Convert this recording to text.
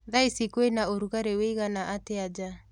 Thaa ĩcĩ kwĩna ũrũgarĩ ũĩgana atĩa nja